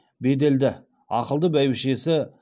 беделді ақылды бәйбішесі